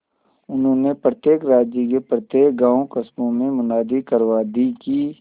उन्होंने प्रत्येक राज्य के प्रत्येक गांवकस्बों में मुनादी करवा दी कि